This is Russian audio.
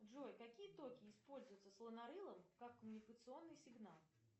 джой какие токи используются слонорылом как коммуникационный сигнал